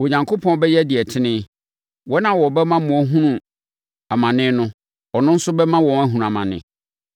Onyankopɔn bɛyɛ deɛ ɛtene. Wɔn a wɔbɛma mo ahunu amane no, ɔno nso bɛma wɔahunu amane,